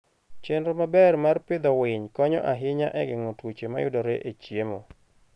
Chenro maber mar pidho winy konyo ahinya e geng'o tuoche mayudore e chiemo.